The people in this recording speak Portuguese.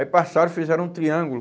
Aí passaram, fizeram um triângulo.